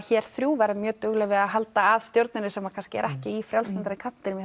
hér þrjú verðum mjög dugleg að halda að stjórninni sem kannski er ekki í frjálslyndari kanntinum í